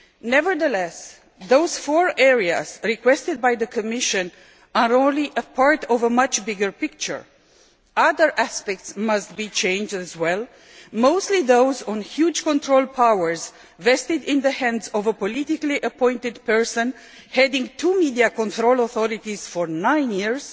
Nevertheless, the four areas requested by the Commission are only a part of a much bigger picture. Other aspects must be changed as well the enormous control powers vested in the hands of a politically appointed person who has been heading two media control authorities for nine years,